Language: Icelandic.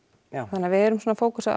þannig að við erum að fókusera